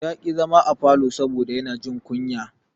Ya ƙi zama a falo saboda yana jin kunya.